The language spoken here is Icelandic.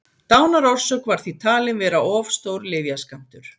Dánarorsök var því talin vera of stór lyfjaskammtur.